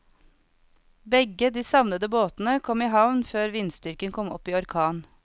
Begge de savnede båtene kom i havn før vindstyrken kom opp i orkan.